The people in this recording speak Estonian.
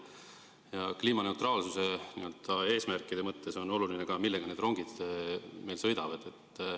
Ja kliimaneutraalsuse eesmärkide mõttes on oluline ka see, millega meie rongid sõidavad.